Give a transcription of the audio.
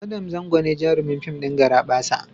Adam Zango ne jarumin fim ɗin "Garabasa".